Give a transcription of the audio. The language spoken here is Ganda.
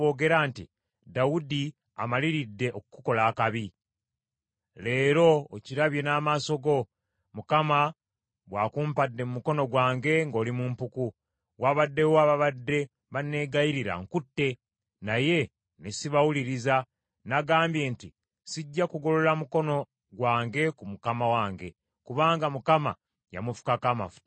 Leero okirabye n’amaaso go, Mukama bw’akumpadde mu mukono gwange ng’oli mu mpuku. Wabaddewo ababadde banneegayirira nkutte, naye ne sibawuliriza. Nagambye nti, ‘Sijja kugolola mukono gwange ku mukama wange, kubanga Mukama yamufukako amafuta.’